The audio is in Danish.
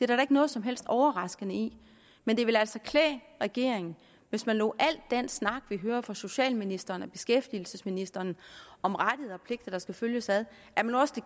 der da ikke noget som helst overraskende i men det ville altså klæde regeringen hvis man lod al den snak vi hører fra socialministeren og beskæftigelsesministeren om rettigheder og pligter der skal følges ad